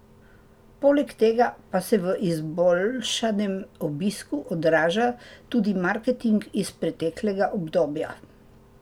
Poleg tega pa se v izboljšanem obisku odraža tudi marketing iz preteklega obdobja.